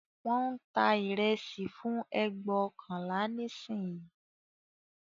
Wón ń ta ìrẹsì fún ẹgbóokànlá nísìnyí